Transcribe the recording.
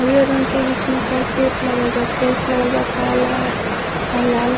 और ये रंग के बीच में कार्पेट लागल बा टाइल्स लगल बा काला अ लाल --